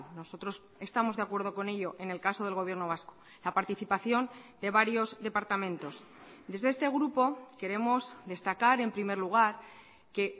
nosotros estamos de acuerdo con ello en el caso del gobierno vasco la participación de varios departamentos desde este grupo queremos destacar en primer lugar que